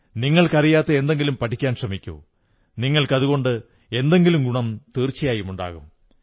നിങ്ങൾക്കറിയാത്ത എന്തെങ്കിലും പഠിക്കാൻ ശ്രമിക്കൂ നിങ്ങൾക്കതുകൊണ്ട് എന്തെങ്കിലും ഗുണം തീർച്ചയായുമുണ്ടാകും